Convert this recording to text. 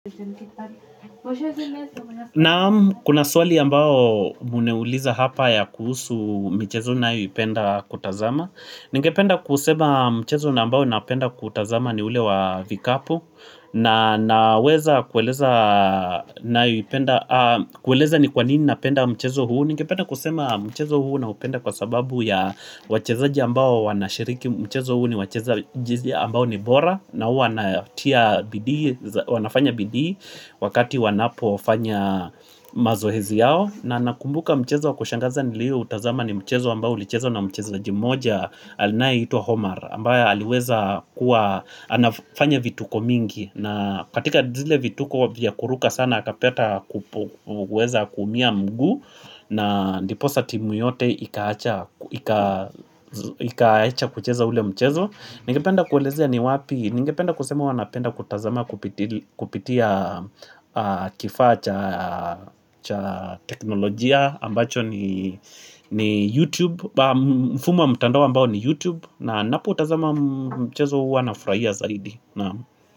Na'am, kuna swali ambao umeniuliza hapa ya kuhusu mchezo ninayoipenda kutazama Ningependa kusema mchezo nambao napenda kutazama ni ule wa vikapu. Na naweza kueleza ni kwa nini napenda mchezo huu. Ningependa kusema mchezo huu naupenda kwa sababu ya wachezaji ambao wanashiriki mchezo huu ni wachezaji ambao ni bora na huwa natia bidii wanafanya bidii wakati wanapofanya mazoezi yao. Na nakumbuka mchezo wa kushangaza nilioutazama ni mchezo ambao ulichezwa na mchezaji mmoja anayeitwa Omar ambaye aliweza kuwa anafanya vituko mingi na katika zile vituko vya kuruka sana akapata kuweza kuumia mguu na ndiposa timu yote ikaacha ikaacha kucheza ule mchezo. Ningependa kuelezea ni wapi, ningependa kusema huwa napenda kutazama kupitia kifaa cha teknolojia ambacho ni YouTube, mfumo wa mtandao ambao ni YouTube. Na ninapotazama mchezo huwa nafurahia zaidi, na'am.